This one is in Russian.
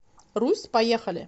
русь поехали